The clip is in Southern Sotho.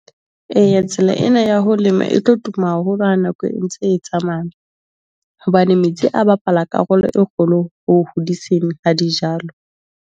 Eya, tsela ena ya ho lema e tlo tuma haholo ha nako e ntse e tsamaya. Hobane metsi a bapala karolo e kgolo ho hodiseng ha dijalo.